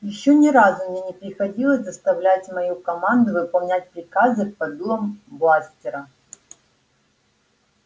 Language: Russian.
ещё ни разу мне не приходилось доставлять мою команду выполнять приказы под дулом бластера